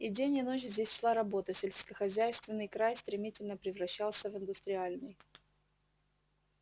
и день и ночь здесь шла работа сельскохозяйственный край стремительно превращался в индустриальный